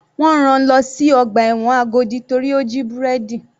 Wọ́n rán-an lọ sí ọgbà ẹ̀wọ̀n Agodi torí ó jí búrẹ́dì.